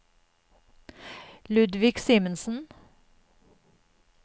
Ludvig Simensen